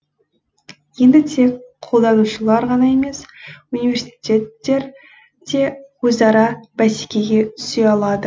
енді тек қолданушылар ғана емес университеттер де өзара бәсекеге түсе алады